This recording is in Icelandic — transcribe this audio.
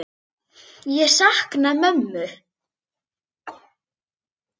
Ég sakna mömmu.